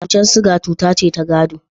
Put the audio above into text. Cutar sukari cuta ce ta gado.